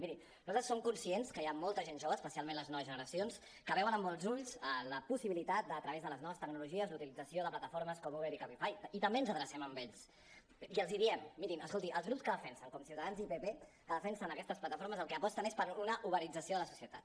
miri nosaltres som conscients que hi ha molta gent jove especialment les noves generacions que veuen amb bons ulls la possibilitat de a través de les noves tecnologies la utilització de plataformes com uber i cabify i també ens adrecem a ells i els diem mirin escoltin els grups que defensen com ciutadans i el pp aquestes plataformes pel que aposten és per una uberització de la societat